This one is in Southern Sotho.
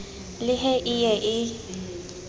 le he e ye e